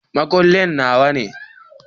Makullin Nawa ne.